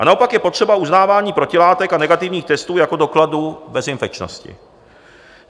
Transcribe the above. A naopak je potřeba uznávání protilátek a negativních testů jako dokladu bezinfekčnosti.